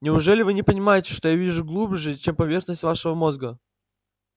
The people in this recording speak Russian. неужели вы не понимаете что я вижу глубже чем поверхность вашего мозга